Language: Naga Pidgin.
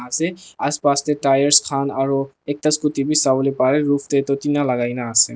ase aspas te tyres khan aru ekta scooty be sabo pare roof te tu tina lagai na ase.